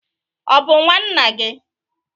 Ọ bụ nwa nna gị?